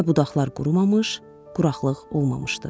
Hələ budaqlar qurumamış, quraqlıq olmamışdı.